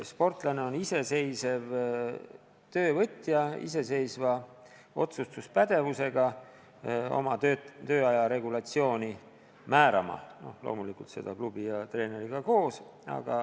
Sportlane on iseseisev töövõtja, kes on pädev ise oma tööaja regulatsiooni määrama, tehes seda loomulikult koos klubi ja treeneriga.